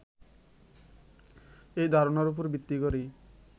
এই ধারণার উপর ভিত্তি করেই